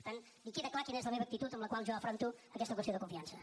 per tant queda clar quina és la meva actitud amb la qual jo afronto aquesta qüestió de confiança